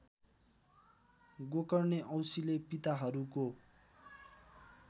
गोकर्णे औसीले पिताहरूको